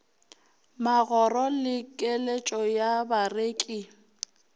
magoro le keletšo ya bareki